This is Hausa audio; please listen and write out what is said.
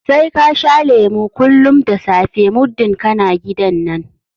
Sai ka sha lemu kullum da safe muddin kana gidan nan!